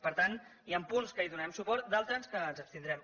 per tant hi han punts que hi donarem suport d’altres que ens abstindrem